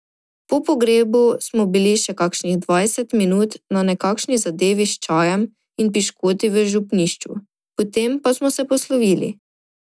Po pogrebu smo bili še kakšnih dvajset minut na nekakšni zadevi s čajem in piškoti v župnišču, potem pa smo se poslovili.